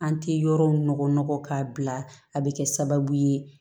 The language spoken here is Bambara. An tɛ yɔrɔw nɔgɔn k'a bila a bɛ kɛ sababu ye